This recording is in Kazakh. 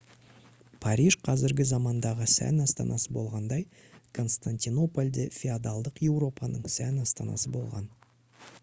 париж қазіргі замандағы сән астанасы болғандай константинополь де феодалдық еуропаның сән астанасы болған